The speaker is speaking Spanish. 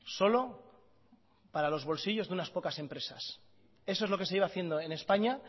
solo para los bolsillos de unas pocas empresas eso es lo que se lleva haciendo en españa